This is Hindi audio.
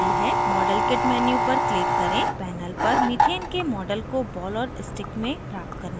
modelkit menu पर click करें panel पर methane के model को ball और stick में प्राप्त करने के लिए